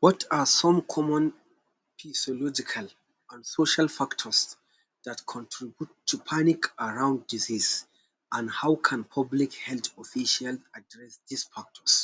What are some common physiological an social factors dat contribute to panic around disease an how can public health official address dis factors.